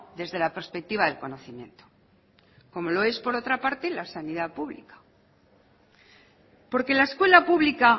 desde la perspectiva del conocimiento como lo es por otra parte la sanidad pública porque la escuela pública